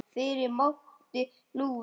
Fyrr mátti nú vera!